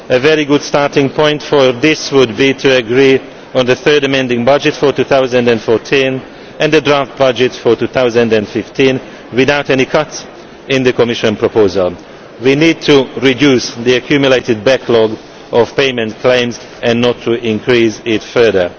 A very good starting point for this would be to agree on the third amending budget for 2014 and the draft budget for 2015 without any cuts to the Commission proposal. We need to reduce the accumulated backlog of payment claims and not to increase it further.